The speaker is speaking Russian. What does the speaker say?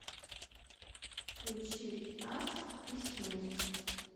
включи нас и смерть